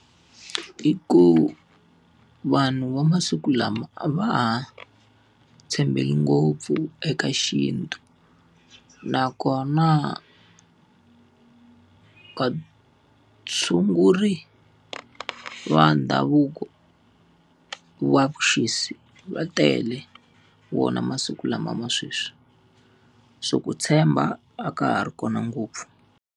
I ku, vanhu va masiku lama a va ha tshembeli ngopfu eka xintu nakona, vatshunguri va ndhavuko wa vuxisi va tele wona masiku lama ma sweswi, se ku tshemba a ka ha ri kona ngopfu.